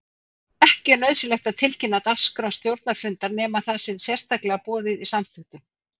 Ekki er nauðsynlegt að tilkynna dagskrá stjórnarfundar nema það sé sérstaklega boðið í samþykktum.